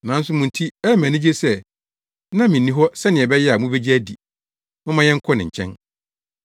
nanso mo nti ɛyɛ me anigye sɛ na minni hɔ sɛnea ɛbɛyɛ a mubegye adi. Momma yɛnkɔ ne nkyɛn.”